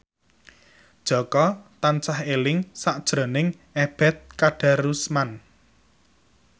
Jaka tansah eling sakjroning Ebet Kadarusman